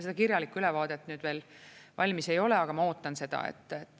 Seda kirjalikku ülevaadet veel valmis ei ole, aga ma ootan seda.